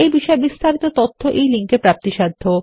এই বিষয় বিস্তারিত তথ্য এই লিঙ্ক এ প্রাপ্তিসাধ্য